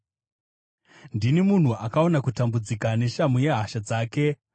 Ndini munhu akaona kutambudzika neshamhu yehasha dzake.